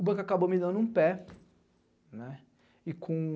O banco acabou me dando um pé, né, e com...